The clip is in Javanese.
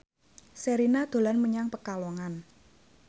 Sherina dolan menyang Pekalongan